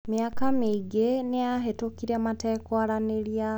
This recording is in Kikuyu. Mĩaka mĩingĩ nĩ yahĩtũkire matekwaranĩria.